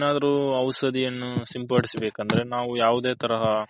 ಏನಾದ್ರು ಔಷದಿಯನ್ನು ಸಿಂಪಡಿಸಿ ಬೇಕಂದ್ರೆ ನಾವು ಯಾವುದೇ ತರಹ